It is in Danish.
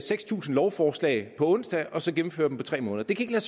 seks tusind lovforslag på en onsdag og så gennemføre dem på tre måneder det kan